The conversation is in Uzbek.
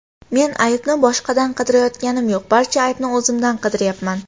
Men aybni boshqadan qidirayotganim yo‘q, barcha aybni o‘zimdan qidiryapman.